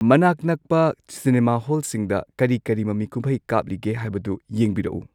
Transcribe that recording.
ꯃꯅꯥꯛ ꯅꯛꯄ ꯆꯤꯅꯦꯃꯥ ꯍꯣꯜꯁꯤꯡꯗ ꯀꯔꯤ ꯀꯔꯤ ꯃꯃꯤꯀꯨꯝꯍꯩ ꯀꯥꯞꯂꯤꯒꯦ ꯍꯥꯏꯕꯗꯨ ꯌꯦꯡꯕꯤꯔꯛꯎ